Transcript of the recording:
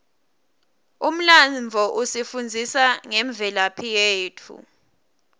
umlandvo usifundzisa ngemvelaphi yetfu